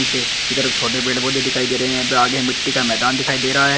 पीछे किधर छोट पेड़ पौधे दिखाई दे रहे हैं। यपे आगे मिट्टी का मैदान दिखाई दे रहा है।